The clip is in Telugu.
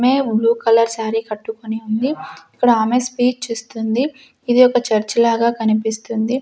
మే బ్లూ కలర్ సారీ కట్టుకొని ఉంది ఇక్కడ ఆమె స్స్పీచ్ ఇస్తుంది ఇది ఒక చర్చి లాగా కనిపిస్తుంది.